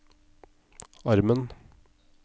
armen